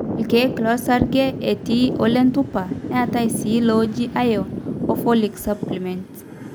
irkeek losarge, etii olentupa, neetai sii looji iron and folic supplements